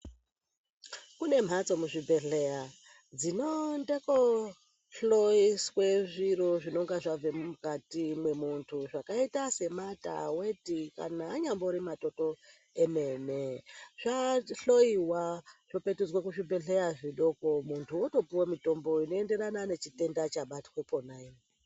Kune mbatso muzvibhedhleya dzinoende kunohloyiswa zviro zvinenge zvabve mumukati mwemundu zvakaita semata, weti kana anyambori matoto emene zvahloyiwa zvopetudzwa muzvibhedhleya zvidoko mundu ondopiwe mutombo zvakaenderana nechitenda chabatwa iponapo.